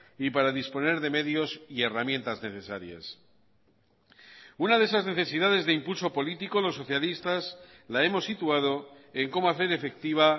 y para disponer de medios y herramientas necesarias una de esas necesidades de impulso político los socialistas la hemos situado en cómo hacer efectiva